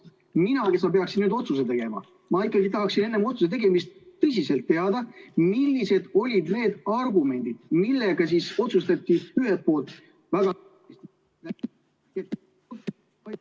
Mina, kes ma peaksin nüüd otsuse tegema, ma ikkagi tahaksin enne otsuse tegemist tõesti teada, millised olid need argumendid, millega otsustati ühelt poolt väga ...